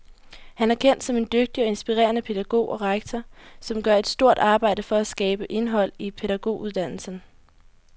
Han er kendt som en dygtig og inspirerende pædagog og rektor, som gør et stort arbejde for at skabe indhold i pædagoguddannelsen.